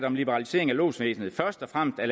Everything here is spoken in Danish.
om liberalisering af lodsvæsenet først og fremmest er